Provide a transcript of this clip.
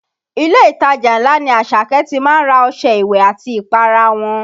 Ilé ìtajà ńlá ni Àṣàkẹ́ ti má ń ra ọṣẹ ìwẹ̀ àti ìpara wọn